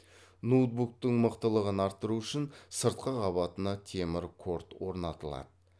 ноутбуктың мықтылығын арттыру үшін сыртқы қабатына темір корд орнатылады